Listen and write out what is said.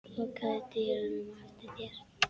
Lokaðu dyrunum á eftir þér.